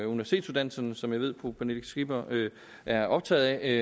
universitetsuddannelserne som jeg ved fru pernille skipper er optaget af